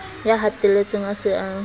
ya hatelletsweng a se a